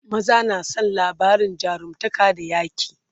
maza na San labarin jarumtaka da yaƙi